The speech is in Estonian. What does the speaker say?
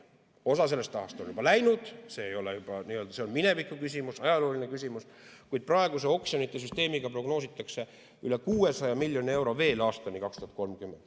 Osa sellest rahast on juba läinud, see on mineviku küsimus, ajalooline küsimus, kuid praeguse oksjonite süsteemiga prognoositakse üle 600 miljoni euro veel aastani 2030.